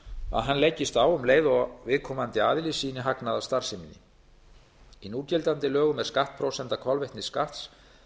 að hann leggist á um leið og viðkomandi aðili sýni hagnað af starfseminni í núgildandi lögum er skattprósenta kolvetnisskatts